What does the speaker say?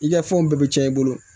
I ka fɛnw bɛɛ bɛ caya i bolo